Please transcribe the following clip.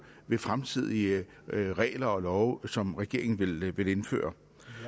ved fremtidige regler og love som regeringen vil vil indføre